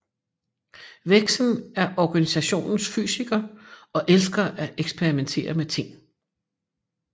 Vexen er Organisationens Fysiker og elsker at eksperimentere med ting